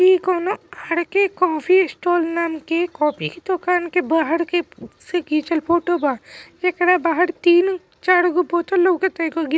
यह कोनो खरके कॉफ़ी स्टाल नाम की एक कॉपी की दूकान के बहार की फ़ो से खिचल फोटो ब। एकरा भर तिन चार गो बोतल लउकाता ईगो गरी--